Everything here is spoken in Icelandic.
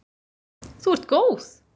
Þú ert góð!